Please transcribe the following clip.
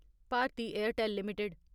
Bharati Airtel limited